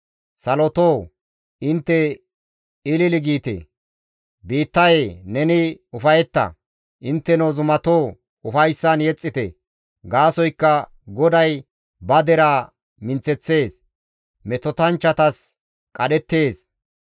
Salotoo intte, ilili giite; biittayee neni ufayetta. Intteno Zumatoo ufayssan yexxite; gaasoykka GODAY ba deraa minththeththees; metotanchchatas qadhettees.